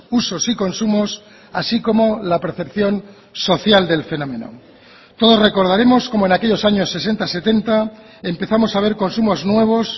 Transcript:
usos y consumos así como la percepción social del fenómeno todos recordaremos cómo en aquellos años sesenta setenta empezamos a ver consumos nuevos